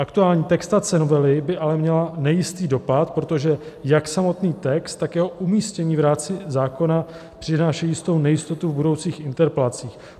Aktuální textace novely by ale měla nejistý dopad, protože jak samotný text, tak jeho umístění v rámci zákona přináší jistou nejistotu v budoucích interpelacích.